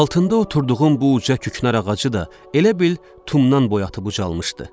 Altında oturduğum bu uca küknar ağacı da elə bil tumdan boyatıb ucalmışdı.